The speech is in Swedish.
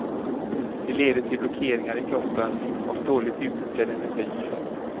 Det leder till blockeringar i kroppen och dåligt utnyttjad energi.